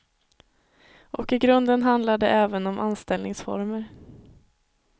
Och i grunden handlar det om även om anställningsformer.